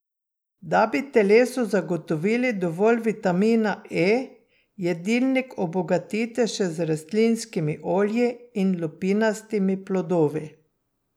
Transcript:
Da bi telesu zagotovili dovolj vitamina E, jedilnik obogatite še z rastlinskimi olji in lupinastimi plodovi.